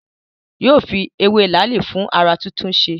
Yóò fi ewé làálì fún ará túntúnse